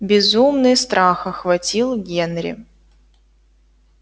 безумный страх охватил генри